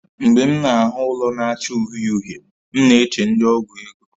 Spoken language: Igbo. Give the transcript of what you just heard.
Mgbe m na-ahụ ụlọ na-acha uhie uhie, m na-eche ndi ọgwụ ego